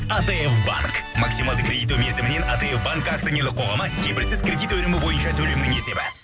атф банк максималды кредиттеу мерзімінен атф банк акционерлік қоғамы кепілсіз кредит өнімі бойынша төлемнің есебі